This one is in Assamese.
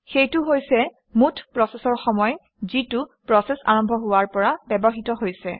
সেইটো হৈছে মুঠ প্ৰচেচৰ সময় যিটো প্ৰচেচ আৰম্ভ হোৱৰ পৰা ব্যৱহৃত হৈছে